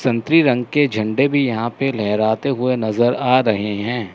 संतरी रंग के झंडे भी यहां पर लहराते हुए नज़र आ रहे हैं।